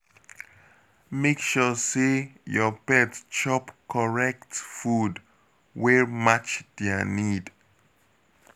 Make sure say your pet chop correct food wey match their need